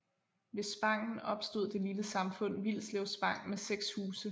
Ved spangen opstod det lille samfund Vilslev Spang med 6 huse